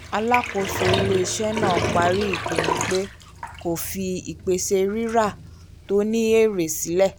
alákóso ilé-iṣẹ́ náà parí ìpinnu pé kó fi ìpèsè rírà tó ní èrè sílẹ̀